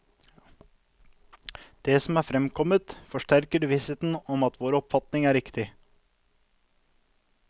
Det som er fremkommet, forsterker vissheten om at vår oppfatning er riktig.